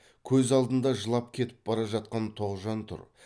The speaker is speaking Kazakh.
көз алдында жылап кетіп бара жатқан тоғжан тұр